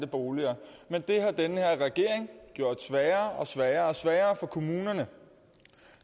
boliger men det har den her regering gjort sværere og sværere sværere for kommunerne